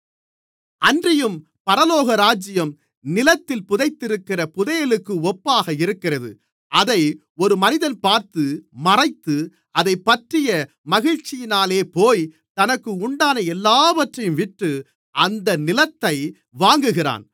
அன்றியும் பரலோகராஜ்யம் நிலத்தில் புதைத்திருக்கிற புதையலுக்கு ஒப்பாக இருக்கிறது அதை ஒரு மனிதன் பார்த்து மறைத்து அதைப்பற்றிய மகிழ்ச்சியினாலேபோய் தனக்கு உண்டான எல்லாவற்றையும் விற்று அந்த நிலத்தை வாங்குகிறான்